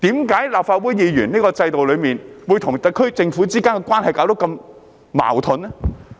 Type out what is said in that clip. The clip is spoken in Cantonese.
為何立法會議員在這個制度中會與特區政府之間的關係會如此矛盾呢？